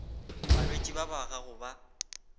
balwetši ba ba gago ba